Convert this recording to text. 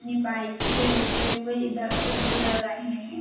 नी bike से होते हुए इधर से गुजर रहे हैं |